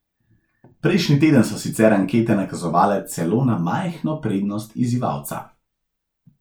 Prejšnji teden so sicer ankete nakazovale celo na majhno prednost izzivalca.